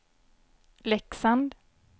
Leksand